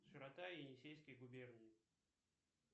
широта енисейской губернии